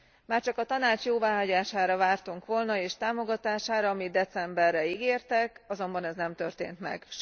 Már csak a Tanács jóváhagyására vártunk volna és támogatására, amit decemberre ígértek, azonban ez nem történt meg.